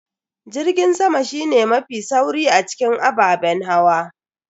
Jirgin sama shine mafi sauri a cikin ababen hawa.